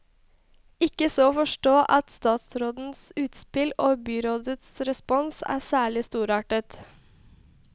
Ikke så å forstå at statsrådens utspill og byrådets respons er særlig storartet.